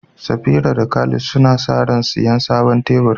Safira da Khalid suna sa ran siyan sabon teburi.